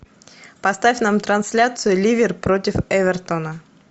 поставь нам трансляцию ливер против эвертона